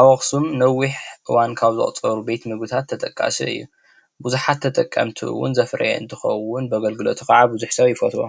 አብ አክሱም ነዊሕ እዋን ካብ ዘቁፀሩ ቤት ንጉሳት ተጠቃሲ እዩ። ብዙሓት ተጠቀምቲ እውን ዘፍረየ እንትኸውን ብአገልግለቲ ከዓ ብዙሕ ሰብ ይፈትዎ።